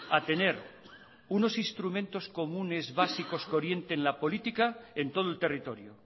a tener unos instrumentos comunes básicos que orienten la política en todo el territorio